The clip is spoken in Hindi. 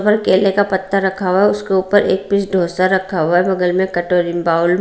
केले का पत्ता रखा हुआ है उसके ऊपर एक पीस डोसा रखा हुआ है बगल मे कटोरीन बाउल --